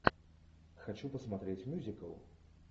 хочу посмотреть мюзикл